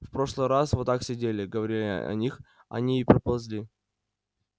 в прошлый раз вот так сидели говорили о них они и приползли